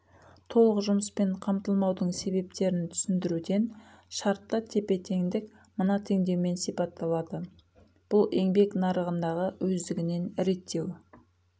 толық жұмыспен қамтылмаудың себептерін түсіндіруден шартты тепе теңдік мына теңдеумен сипатталады бұл еңбек нарығындағы өздігінен реттеу